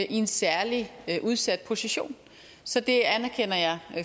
i en særlig udsat position så det anerkender jeg